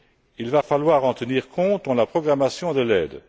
Il va falloir en tenir compte dans la programmation de l'aide.